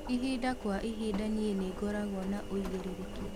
ĩhĩnda kwa ĩhĩnda nii ningoragwo na uigiririki